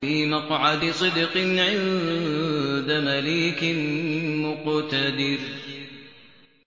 فِي مَقْعَدِ صِدْقٍ عِندَ مَلِيكٍ مُّقْتَدِرٍ